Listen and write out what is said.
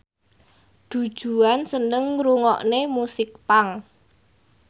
Du Juan seneng ngrungokne musik punk